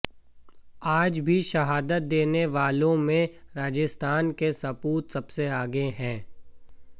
आज भी शहादत देने वालों में राजस्थान के सपूत सबसे आगे हैं